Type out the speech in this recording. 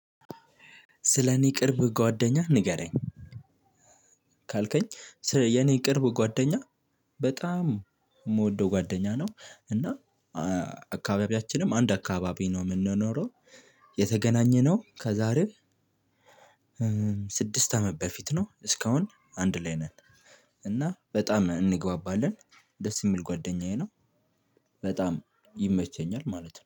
ስለኔ ቅርብ ጓደኛ ንገረኝ። ካልከኝ የኔ ቅርብ ጓደኛ በጣም የምወደው ጓደኛ ነው። እና አካባቢያችንም አንድ አካባቢ ነው የምንኖረው። የተገናኘነው ከዛሬ ስድስት አመት በፊት ነው። እስካሁን አንድ ላይ ነን። እና በጣም እንግባባለን። ደስ የሚል ጓደኛዬ ነው። በጣም ይመቸኛል ማለት ነው